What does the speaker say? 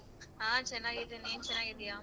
ಹ ನಾನ್ ಚೆನ್ನಾಗಿದೀನ್ ನೀನ್ ಚೆನ್ನಗಿದ್ಯ?